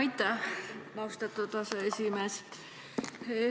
Aitäh, austatud aseesimees!